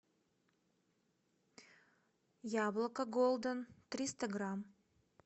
яблоко голден триста грамм